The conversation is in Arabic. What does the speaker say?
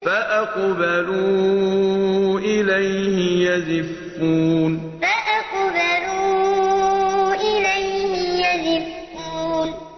فَأَقْبَلُوا إِلَيْهِ يَزِفُّونَ فَأَقْبَلُوا إِلَيْهِ يَزِفُّونَ